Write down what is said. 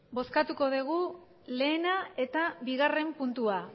bozkatuko dugu lehena eta bigarren puntua